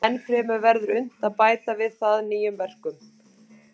Ennfremur verður unnt að bæta við það nýjum verkum.